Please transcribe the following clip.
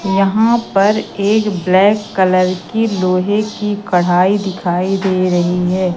यहां पर एक ब्लैक कलर की लोहे की कढ़ाई दिखाई दे रही है।